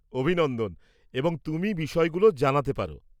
অভিনন্দন, এবং তুমি বিষয়গুলো জানাতে পারো।